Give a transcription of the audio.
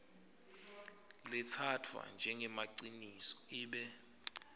letsatfwa njengemaciniso ibe